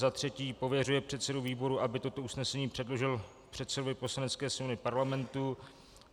Za třetí pověřuje předsedu výboru, aby toto usnesení předložil předsedovi Poslanecké sněmovny Parlamentu.